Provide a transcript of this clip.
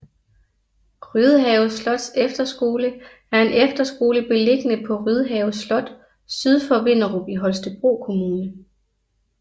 Rydhave Slots Efterskole er en efterskole beliggende på Rydhave Slot syd for Vinderup i Holstebro Kommune